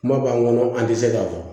Kuma b'an kɔnɔ an tɛ se k'a fɔ